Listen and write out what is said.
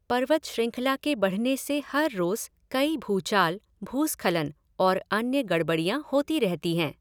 पर्वत श्रृंखला के बढ़ने से हर रोज कई भूचाल, भूस्खलन और अन्य गड़बडियाँ होती रहती हैं।